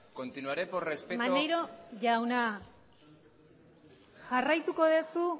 jarraituko duzu